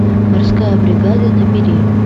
морская бригада набери